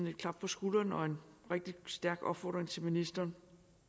et klap på skulderen og en rigtig stærk opfordring til ministeren